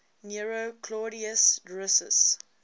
nero claudius drusus